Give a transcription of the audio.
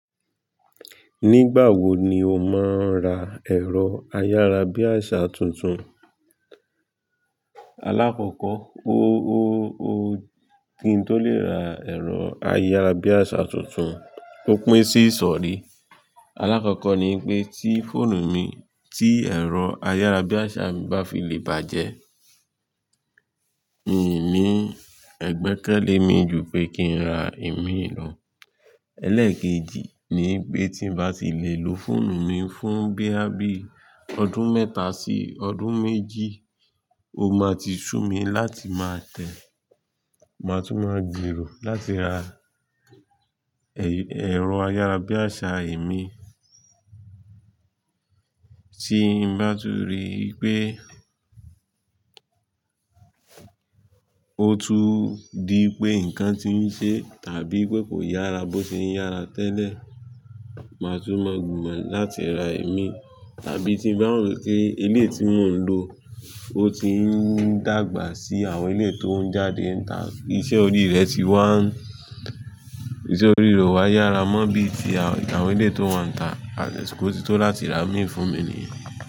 Nígbà wo ni o máa ń ra ẹ̀rọ ayárabíàṣá tuntun? Alákọ̀kọ̀, kin to lè ra ẹ̀rọ ayárabíàṣá tuntun, ó pín sí ìsọ̀rí. Alákọ̀kọ̀ ni pé tí fóònù mi, tí ẹ̀rọ ayárabíàṣá mi bá fi lè bàjẹ́, mini ẹ̀gbẹ́kẹ́lé mi ju pé kí n ra ìmí ìlò. Elékèjì ni pé tí n bá ti lè lo fóònù mi fún bíà bí ọdún mẹ́ta sí ọdún méjì, ó máa ti sú mi láti máa tẹ̀, máa tún máa gbero láti ra ẹ̀rọ ayárabíàṣá ìmí. Tí n bá tú rí i pé ó tú dí pé nǹkan ti ń ṣe tàbí pé kò yára bó ṣe ń yára tẹ́lẹ̀, máa tún mọ gbìmọ̀ láti ra ìmí. Tàbí tí n bá rò pé ilé tí mò ń lo ó ti ń dàgbà sí àwọn ilé tó ń jáde ń ta, iṣẹ́ orí rẹ̀ ti wá, iṣẹ́ orí rẹ̀ ò wá yára mọ́ bí i tí àwọn ilé tó wá ń ta, asiko ti tó láti ra ìmí fún mi nìyẹn.